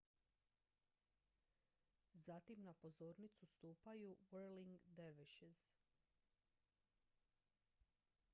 zatim na pozornicu stupaju whirling dervishes